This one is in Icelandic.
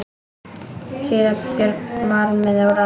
Síra Björn var með óráði.